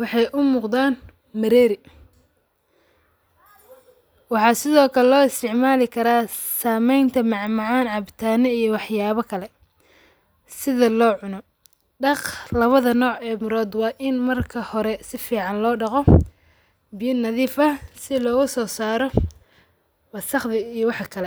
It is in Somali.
waxay umugdaan mereri waxa sidhii kale loo isticmali karaa sameynta macmacan cabitaani iyo wax yabi kale sidhi loo cuno. Daag lawadha nooce mirood waa in marka hore safican loo daqo biyo nadhiif aah sidhii lososaro wasaq iyo wax kale.